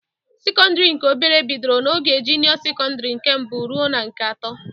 Sekọndịrị nke obere bidoro n'ogo junịọ sekọndịrị nke mbụ ruo na nke atọ.